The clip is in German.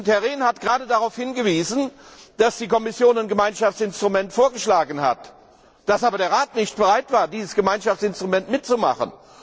Herr Rehn hat gerade darauf hingewiesen, dass die Kommission ein Gemeinschaftsinstrument vorgeschlagen hat, dass aber der Rat nicht bereit war, bei diesem Gemeinschaftsinstrument mitzumachen.